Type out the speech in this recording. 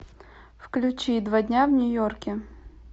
включи два дня в нью йорке